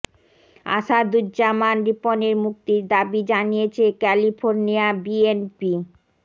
আসাদুজ্জামান রিপনের মুক্তির দাবী জানিয়েছে ক্যালিফোর্নিয়া বি এন পি